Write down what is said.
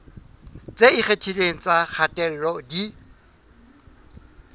tse ikgethileng tsa kgatello di